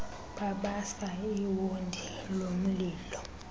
babasa iwondi lomlilo